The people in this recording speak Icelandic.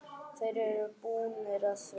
Þeir eru búnir að því.